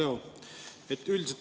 Hea Leo!